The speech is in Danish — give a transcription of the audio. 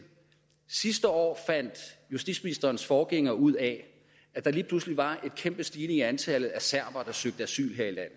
sidste år fandt justitsministerens forgænger ud af at der lige pludselig var en kæmpe stigning i antallet af serbere der søgte asyl her i